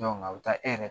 a bɛ taa e yɛrɛ